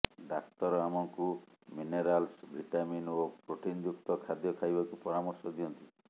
ଡାକ୍ତର ଆମକୁ minerals vitamin ଓ ପ୍ରୋଟିନଯୁକ୍ତ ଖାଦ୍ୟ ଖାଇବାକୁ ପରାମର୍ଶ ଦିଅନ୍ତି